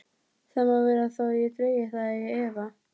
Það má vera þó ég dragi það í efa.